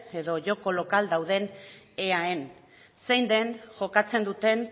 edo joko lokal dauden eae zein den jokatzen duten